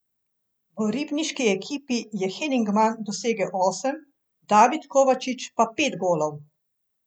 V ribniški ekipi je Henigman dosegel osem, David Kovačič pa pet golov.